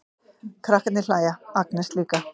Krakkarnir hlæja, Agnes líka.